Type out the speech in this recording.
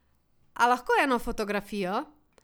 A lahko eno fotografijo?